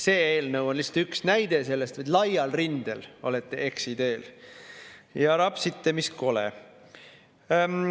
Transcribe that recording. See eelnõu on lihtsalt üks näide sellest, et laial rindel olete eksiteel ja rapsite mis kole.